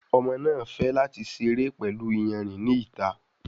Ọmọ náa fè láti seré pẹlú iyanrìn ní ìta.